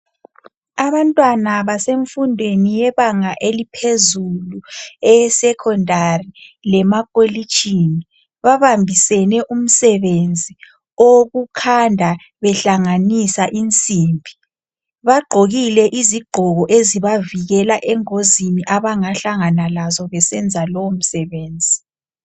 Abantwana basemfundweni yebanga eliphezulu eyesecondary lemakolitshini babambisene umsebenzi owokukhanda behlanganisa insimbi. Bagqokile izigqoko ezibavikela engozini abangahlangana lazo besenza lowo msebenzi.